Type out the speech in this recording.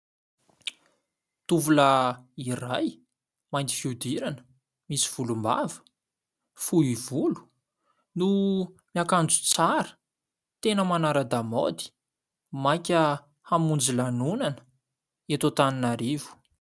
Tovolahy iray mainty fiodirana, misy volom-bava, fohy volo no miakanjo tsara tena manara-damaody maika hamonjy lanonana eto Antananarivo.